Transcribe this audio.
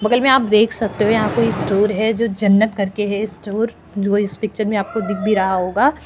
बगल मे आप देक सकते है यहा कोई स्टोअर है जो जन्नत करके है स्टोअर जो इस पिक्चर मे आप को दीक भी रहा होगा।